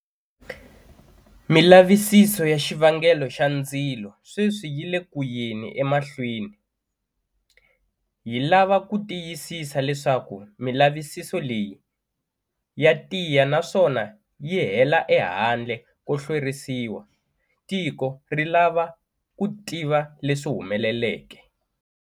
Milavisiso ya xivangelo xa ndzilo sweswi yi le kuyeni emahlweni. Hi lava ku tiyisisa leswaku milavisiso leyi ya tiya naswona yi hela ehandle ko hlwerisiwa. Tiko ri lava ku tiva leswi humeleleke.